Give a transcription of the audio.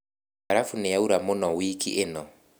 Mbarabu nĩyaura mũno wiki ĩno.